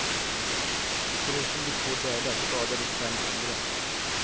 Förutom de två döda skadades fem andra.